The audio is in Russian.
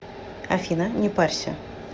афина не парься